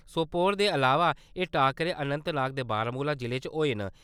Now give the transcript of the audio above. सोपोर दे अलावा एह् टाक्करे, अनन्तनाग ते बारामूला जिले च होए न।